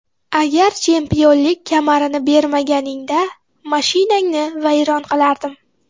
Agar chempionlik kamarini bermaganingda, mashinangni vayron qilardim.